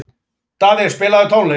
Daði, spilaðu tónlist.